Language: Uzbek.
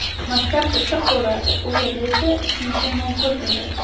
Maktab issiq bo‘lardi, u yerda esa isinishim mumkin edi.